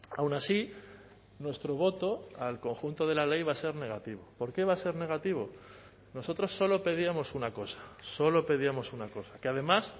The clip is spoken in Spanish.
aun así nuestro voto al conjunto de la ley va a ser negativo por qué va a ser negativo nosotros solo pedíamos una cosa solo pedíamos una cosa que además